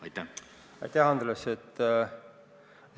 Aitäh, Andres!